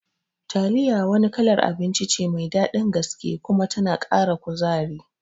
Taliya wani kalar abinci ce mai daɗin gaske kuma tana Kara kuzari